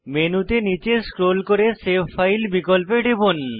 মেনুতে নীচে স্ক্রোল করে সেভ ফাইল বিকল্পে টিপুন